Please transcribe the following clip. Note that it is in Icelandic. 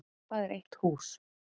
Hvað er eitt hús?